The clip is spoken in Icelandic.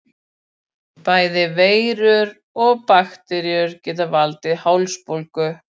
Bæði veirur og bakteríur geta valdið hálsbólgu.